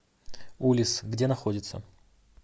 улисс где находится